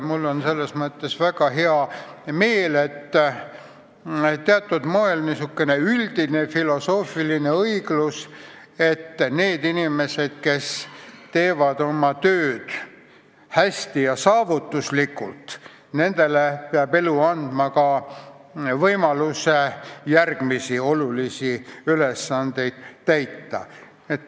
Mul on selles mõttes väga hea meel, et teatud moel ilmneb siin niisukene üldine filosoofiline õiglus, et nendele inimestele, kes teevad oma tööd hästi ja saavutuslikult, peab elu andma ka võimaluse järgmisi olulisi ülesandeid täita.